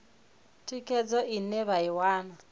thikhedzo ine vha i wana